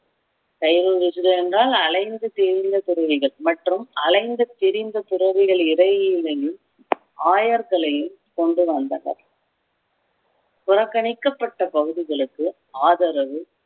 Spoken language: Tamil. என்றால் அலைந்து திரிந்த துறவிகள் மற்றும் அலைந்து திரிந்த துறவிகள் இடையிலையும் ஆயர் தலையில் கொண்டு வந்தனர் புறக்கணிக்கப்பட்ட பகுதிகளுக்கு ஆதரவு